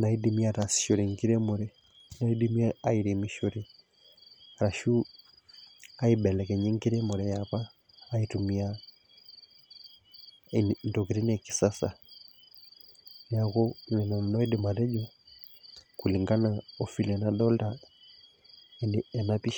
naidimi aatasihore enkiremore, naidimi airemishore arashu aibelekenya enkiremore apa aitumia ntokitin e kisasa. neeku nena nanu aidim atejo kulngan o vile nadoolta ena pisha.